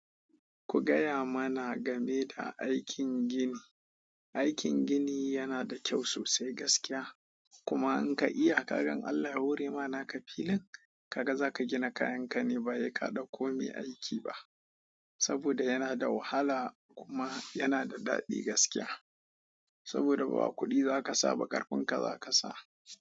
Ku gaya mana game da aikin gini. Aikin gini yana da kyau sosai gaskiya. Kuma in ka iya, ka ga in Allah ya hore ma naka filin, kaga zaka gina kayan ka ne ba he ka ɗauko mai aiki ba. Saboda yana da wahala kuma yana da daɗi gaskiya. Saboda ba kuɗi zaka sa ba ƙarfin ka zaka sa.